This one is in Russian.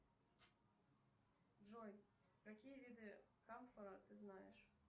джой какие виды камфора ты знаешь